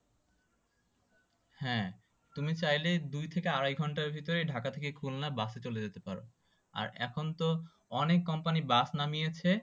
হ্যাঁ তুমি চাইলে দুই থেকে আড়াই ঘন্টার ভেতরে ঢাকা থেকে খুলনা bus এ চলে যেতে পারো। আর এখন তো অনেক company bus নামিয়েছে।